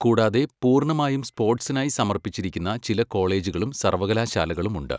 കൂടാതെ, പൂർണ്ണമായും സ്പോർട്സിനായി സമർപ്പിച്ചിരിക്കുന്ന ചില കോളേജുകളും സർവ്വകലാശാലകളും ഉണ്ട്.